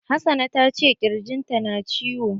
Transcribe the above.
Hassana ta ce ƙirjin ta na ciwo.